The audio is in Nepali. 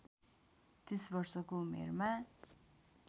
३० वर्षको उमेरमा